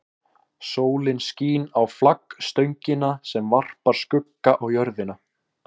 Sólin skín á flaggstöngina sem varpar skugga á jörðina.